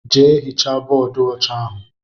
Jee hichaa bóódú ọcha ahụ!!!!